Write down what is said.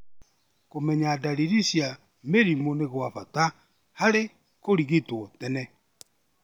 Kũmenya ndariri cia mĩrimũ nĩ gwa bata harĩ kũrigitwo tene.